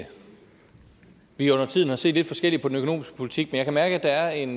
at vi undertiden har set lidt forskelligt på den økonomiske politik men jeg kan mærke at der er en